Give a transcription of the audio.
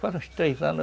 Fazem uns três anos.